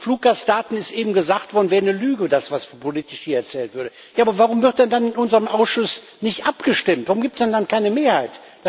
Zu den Fluggastdaten ist eben gesagt worden, es wäre eine Lüge, was politisch hier erzählt würde. Aber warum wird denn dann in unserem Ausschuss nicht abgestimmt, warum gibt es denn dann keine Mehrheit?